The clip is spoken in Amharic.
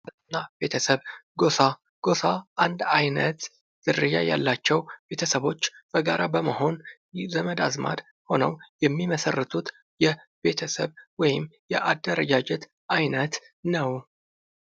ማህበረሰብና ቤተሰብ ጎሳ ጎሳ አንድ አይነት ዝርያ ያላቸው ቤተሰቦች በጋራ በመሆን ዘመድ አዝማድ ሆነው የሚመሠረቱት የቤተሰብ ወይም የአደረጃጀት አይነት ነው።